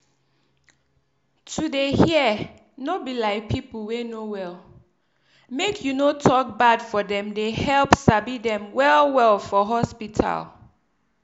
to dey hear no be lie pipu wey no well make you no tok bad for dem dey help sabi dem well well for hospital.